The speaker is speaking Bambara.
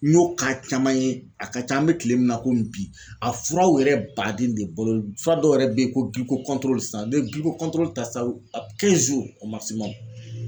N y'o caman ye a ka ca an me kile min na, komi bi, a furaw yɛrɛ baden de bɔlen fura dɔw yɛrɛ be yen, ko san n'i ye ta sissan